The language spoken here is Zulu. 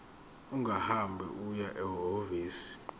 ungahamba uye ehhovisi